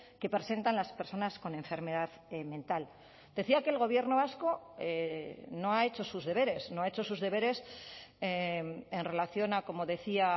que presentan las personas con enfermedad mental decía que el gobierno vasco no ha hecho sus deberes no ha hecho sus deberes en relación a como decía